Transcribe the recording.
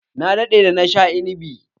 Ya daɗe da na sha inibi.